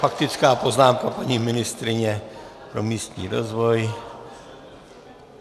Faktická poznámka paní ministryně pro místní rozvoj.